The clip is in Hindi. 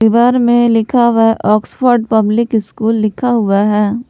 दीवार में लिख हुआ है ऑक्सफोर्ड पब्लिक स्कूल लिखा हुआ है।